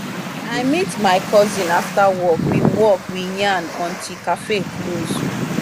i meet my cousin after work we work we yarn until café close.